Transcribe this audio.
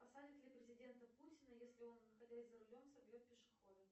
посадят ли президента путина если он находясь за рулем собьет пешехода